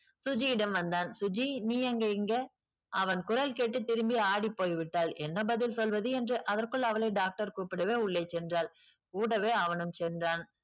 சுஜியிடம் வந்தான் சுஜி நீ எங்க இங்க அவன் குரல் கேட்டு திரும்பி ஆடிப் போய் விட்டாள் என்ன பதில் சொல்வது என்று அதற்குள் அவளை doctor கூப்பிடவே உள்ளே சென்றாள் கூடவே அவனும் சென்றான்